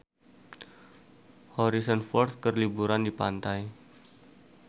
Harrison Ford keur liburan di pantai